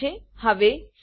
return statement છે